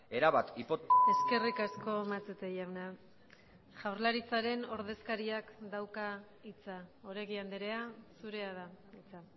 erabat eskerrik asko matute jauna jaurlaritzaren ordezkariak dauka hitza oregi andrea zurea da hitza